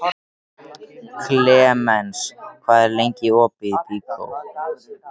Klemens, hvað er lengi opið í Byko?